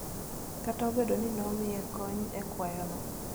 Kata obedo ni ne omiyo kony e kwayono,